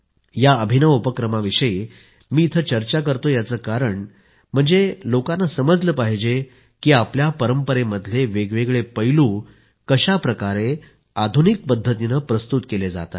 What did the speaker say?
या अभिनव उपक्रमाविषयी मी इथं चर्चा करतोय याचं कारण म्हणजे लोकांना समजलं पाहिजे की आपल्या परंपरेमधले वेगवेगळे पैलू कशाप्रकारे आधुनिक पद्धतीने प्रस्तुत केले जात आहेत